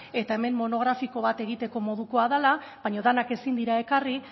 eta hemen monografiko bat egiteko modukoa dela baina denak ezin dira ekarri